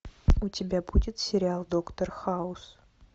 у тебя будет сериал доктор хаус